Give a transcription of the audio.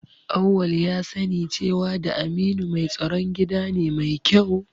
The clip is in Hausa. Auwal ya sani cewa da Aminu mai tsaron gida ne mai kyau